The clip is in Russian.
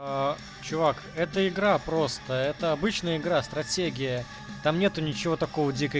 а чувак это игра просто это обычная игра стратегия там нету ничего такого дико